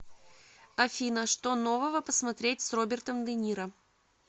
афина что нового посмотреть с робертом дениро